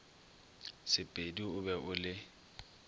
sepedi o be o le